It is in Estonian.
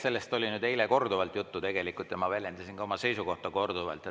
Sellest oli eile korduvalt juttu ja ma väljendasin ka oma seisukohta korduvalt.